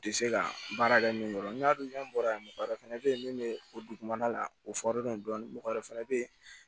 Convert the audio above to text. U tɛ se ka baara kɛ min kɔrɔ n'a dun bɔra yan mɔgɔ wɛrɛ fɛnɛ bɛ yen min bɛ o dugumana la o dɔɔnin mɔgɔ wɛrɛ fana bɛ yen